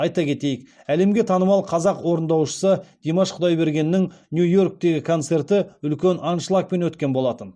айта кетейік әлемге танымал қазақ орындаушысы димаш құдайбергеннің нью йорктегі концерті үлкен аншлагпен өткен болатын